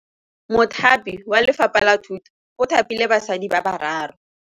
Mothapi wa Lefapha la Thutô o thapile basadi ba ba raro.